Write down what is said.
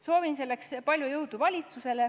Soovin selleks valitsusele palju jõudu!